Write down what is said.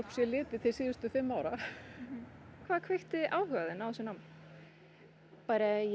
sé litið til síðustu fimm ára hvað kveikti áhuga þinn á þessu námi ég